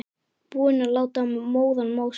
Búinn að láta móðan mása.